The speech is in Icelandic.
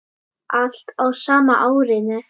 Allt á sama árinu.